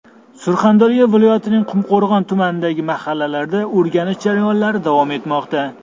Surxondaryo viloyatining Qumqo‘rg‘on tumanidagi mahallalarda o‘rganish jarayonlari davom etmoqda.